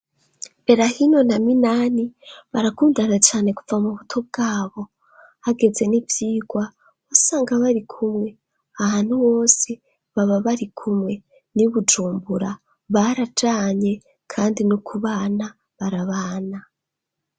Belahino na minani barakundana cane kuva mu buto bwabo hageze n'ivyirwa wasanga bari kumwe ahantu wose baba bari kumwe ni bujumbura barajanye, kandi n' ukubana barabana.